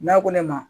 N'a ko ne ma